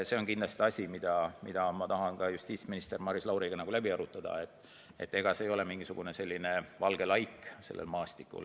See on kindlasti asi, mida ma tahan ka justiitsminister Maris Lauriga läbi arutada, et ega see ei ole mingisugune valge laik sellel maastikul.